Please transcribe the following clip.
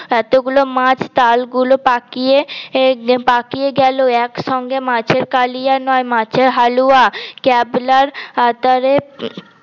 এতোগুলো মাছ উম তালগুলো পাকিয়ে পাকিয়ে গেলো একসঙ্গে মাছের কালিয়া নয় মাছের হালুয়া ক্যাবলার আতারে হম